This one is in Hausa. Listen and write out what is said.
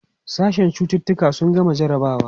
sashen cututuka sun gama jarabawa